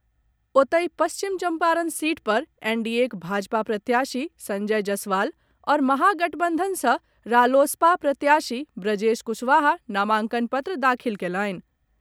ओतहि, पश्चिम चम्पारण सीट पर एनडीएक भाजपा प्रत्याशी संजय जसवाल आओर महागबंधन सॅ रालोसपा प्रत्याशी ब्रजेश कुशवाहा नामांकन पत्र दाखिल कयलनि।